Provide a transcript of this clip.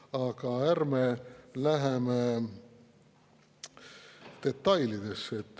Aga ärme läheme detailidesse.